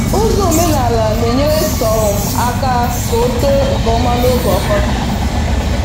Ụzọ omenala na-enyere sorghum aka k' otoo nke ọma n'oge ọkọchị